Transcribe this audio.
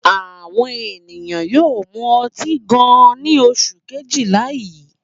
Àwọn ènìyàn yóò mú ọtí gan-an ní oṣù kejìlá yìí.